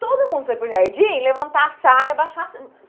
Todo mundo foi para o jardim levantar a saia, abaixar a.